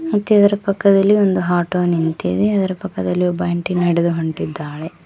ಮತ್ ಇದರ ಪಕ್ಕದಲ್ಲಿ ಒಂದು ಹಾಟೊ ನಿಂತಿದೆ ಅದರ ಪಕ್ಕದಲ್ಲಿ ಒಬ್ಬ ಆಂಟಿ ನಡೆದು ಹೊಂಟಿದ್ದಾಳೆ.